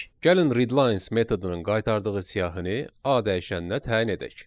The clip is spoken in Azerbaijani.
Gəlin readlines metodunun qaytardığı siyahını A dəyişəninə təyin edək.